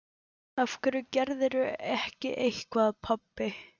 Af hverju gerirðu ekki eitthvað, pabbi?